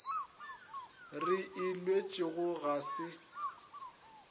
re e lwetšego ga se